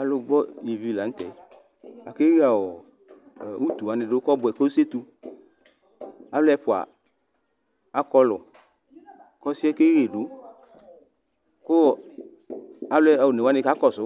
Alʋgbɔ ivi la nʋ tɛ Akaɣe utu wani dʋ kɔbʋɛ, kasetu Alu ɛfʋa akɔlʋ Ɔsɩ yɛ keɣedu, kʋ alu one wani ka kɔsʋ